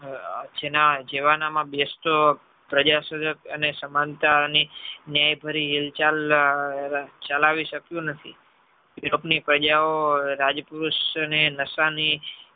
જેવાના માં બેસતો પ્રજા અને સમન્તા ની ન્યાય ભરી હિલચાલ ચલાવી શક્યું નથી europe ની પ્રજા ઓ રાજપુરુષ ને નશાની